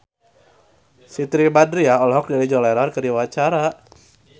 Siti Badriah olohok ningali John Lennon keur diwawancara